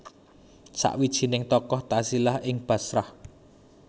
Sawijining tokoh tazilah ing Bashrah